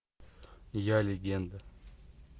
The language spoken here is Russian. я легенда